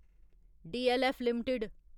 DLF limited